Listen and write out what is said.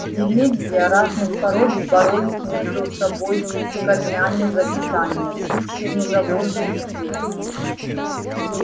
деревья разных пород боролись между собой корнями за питание сучьями за воздух и свет